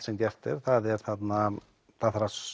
sem gert er það er það þarf að